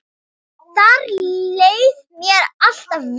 Þar leið mér alltaf vel.